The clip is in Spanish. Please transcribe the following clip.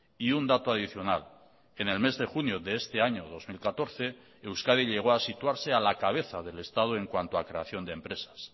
y un dato adicional en el mes de junio de este año dos mil catorce euskadi llegó a situarse a la cabeza del estado en cuanto a creación de empresas